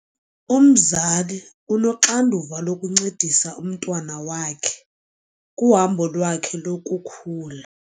Umzali unoxanduva lokuncedisa umntwana wakhe kuhambo lwakhe lokukhula.